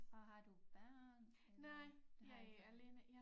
Og har du børn eller du har ikke børn